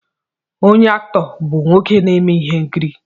Onye Aktọọ bụ nwoke na-eme ihe nkiri